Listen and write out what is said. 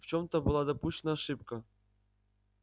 в чём-то была допущена ошибка